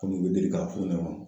Kɔmi u be deli k'a f'u ɲɛna